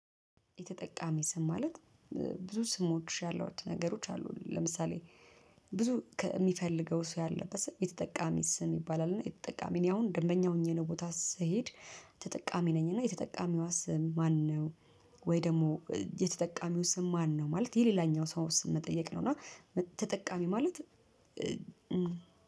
የተጠቃሚ ስም ማለት ብዙ ስሞች ያሏት ነገሮች አሉ። ለምሳሌ ብዙ የሚፈልገው ሰው ያለበት ስም የተጠቃሚ ስም ይባላል። እና የተጠቃሚ እኔ አሁን ደንበኛ ሆኜ ነው ቦታ ስሄድ ተጠቃሚ ነኝ። እና የተጠቃሚው ስም ማነው ወይ ደግሞ የተጠቃሚው ስም ማነው? ማለት የሌላኛው ሰው ስም መጠየቅ ነው። እና ተጠቃሚ ማለት